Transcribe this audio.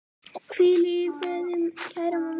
Hvíl í friði, kæra mamma.